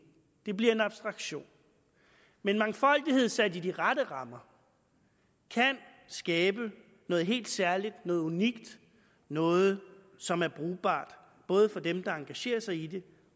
det bliver en abstraktion men mangfoldighed sat i de rette rammer kan skabe noget helt særligt noget unikt noget som er brugbart både for dem der engagerer sig i det